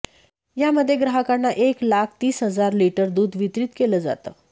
यामध्ये ग्राहकांना एक लाख तीस हजार लिटर दुध वितरीत केलं जातं